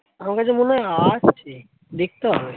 আমার কাছে মনে হয় আছে দেখতে হবে।